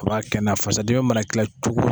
A b' kɛnɛya fasadimi mana 'i la cogo o cogo.